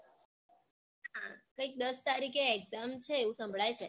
કૈઈક દસ તારીકે exam છે એવું સંભળાય છે